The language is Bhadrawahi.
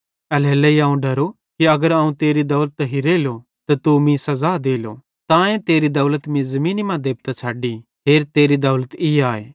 एल्हेरेलेइ अवं डरो कि अगर अवं तेरी दौलत हिरेइलो त तू मीं सज़ा देलो तांए तेरी दौलत मीं ज़मीनी मां देबतां छ़डी हेर तेरी दौलत ई आए